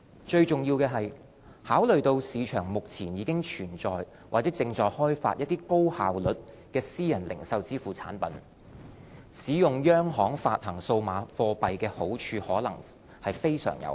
最重要的是，考慮到市場目前已存在或正開發高效率的私人零售支付產品，使用央行發行數碼貨幣的好處可能非常有限。